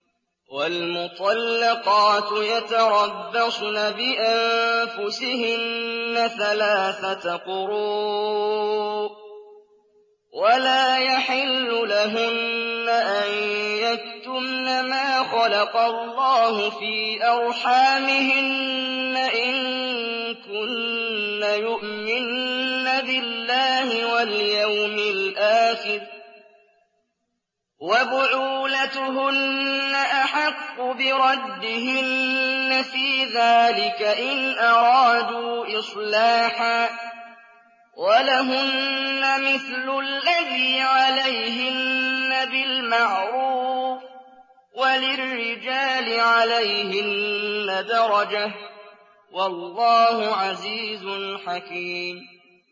وَالْمُطَلَّقَاتُ يَتَرَبَّصْنَ بِأَنفُسِهِنَّ ثَلَاثَةَ قُرُوءٍ ۚ وَلَا يَحِلُّ لَهُنَّ أَن يَكْتُمْنَ مَا خَلَقَ اللَّهُ فِي أَرْحَامِهِنَّ إِن كُنَّ يُؤْمِنَّ بِاللَّهِ وَالْيَوْمِ الْآخِرِ ۚ وَبُعُولَتُهُنَّ أَحَقُّ بِرَدِّهِنَّ فِي ذَٰلِكَ إِنْ أَرَادُوا إِصْلَاحًا ۚ وَلَهُنَّ مِثْلُ الَّذِي عَلَيْهِنَّ بِالْمَعْرُوفِ ۚ وَلِلرِّجَالِ عَلَيْهِنَّ دَرَجَةٌ ۗ وَاللَّهُ عَزِيزٌ حَكِيمٌ